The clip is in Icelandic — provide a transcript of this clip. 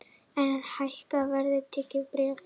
Enn hækka verðtryggð bréf